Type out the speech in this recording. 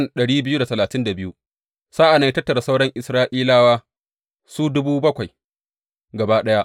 Sa’an nan ya tattara sauran Isra’ilawa su gaba ɗaya.